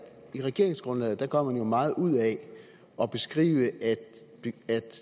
i regeringsgrundlaget gør man jo meget ud af at beskrive at